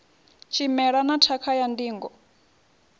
tshimela na tshakha ya ndingo